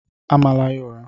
Amala ya ụra!